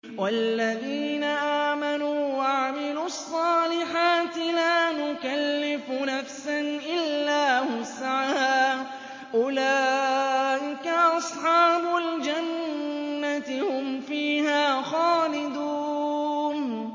وَالَّذِينَ آمَنُوا وَعَمِلُوا الصَّالِحَاتِ لَا نُكَلِّفُ نَفْسًا إِلَّا وُسْعَهَا أُولَٰئِكَ أَصْحَابُ الْجَنَّةِ ۖ هُمْ فِيهَا خَالِدُونَ